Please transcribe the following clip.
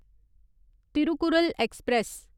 Thirukkural express